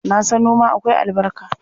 Na san noma akwai albarka.